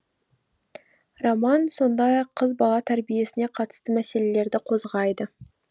роман сондай ақ қыз бала тәрбиесіне қатысты мәселелерді қозғайды